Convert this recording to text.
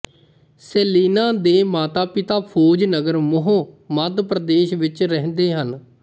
Selina ਦੇ ਮਾਤਾਪਿਤਾ ਫ਼ੌਜ ਨਗਰ ਮਹੂੰ ਮੱਧ ਪ੍ਰਦੇਸ਼ ਵਿੱਚ ਰਹਿੰਦੇ ਹਨ